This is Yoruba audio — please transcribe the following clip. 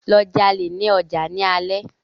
Lọ jalè ní ọjà ní alé!